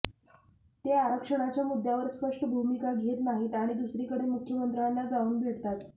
ते आरक्षणाच्या मुद्द्यावर स्पष्ट भूमिका घेत नाहीत आणि दुसरीकडे मुख्यमंत्र्यांना जाऊन भेटतात